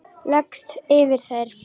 Leggst yfir þær.